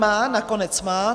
Má, nakonec má.